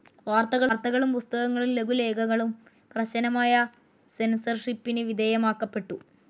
വാർത്തകളും പുസ്‌കങ്ങളും ലഘുലേഖകളും കർശനമായ സെൻസർഷിപ്പിന് വിധേയമാക്കപ്പെട്ടു.